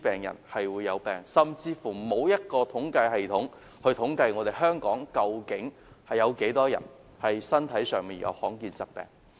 現時甚至沒有統計系統，統計究竟有多少香港人患上罕見疾病。